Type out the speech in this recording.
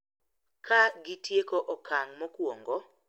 Kagitieko okang` mokuongo,